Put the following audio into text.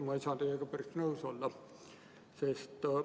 Ma ei saa teiega päris nõus olla.